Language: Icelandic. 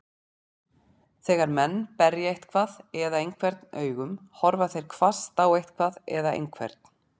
Þegar menn berja eitthvað eða einhvern augum, horfa þeir hvasst á eitthvað eða einhvern.